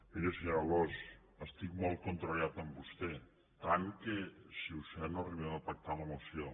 miri senyora alòs estic molt contrariat amb vostè tant que si ho sé no arribem a pactar la moció